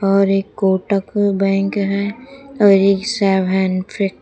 और एक कोटक बैंक है और एक शावानफी--